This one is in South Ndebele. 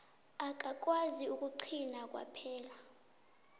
akakwazi ukugcina kwaphela